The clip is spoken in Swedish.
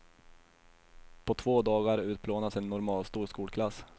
På två dagar utplånas en normalstor skolklass.